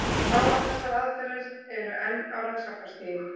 Báðar þessar aðferðir eru enn á rannsóknarstigi.